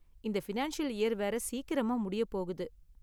இந்த financial year வேற சீக்கிரமா முடிய போகுது.